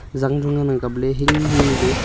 jang chu ngan ang kaple hinghing nu le.